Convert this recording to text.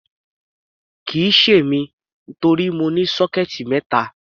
Kì í ṣe èmi, torí mo ní sọ́kẹ́ẹ̀tì mẹ́ta.